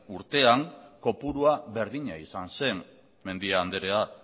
urtean kopurua berdina izan zen mendia andrea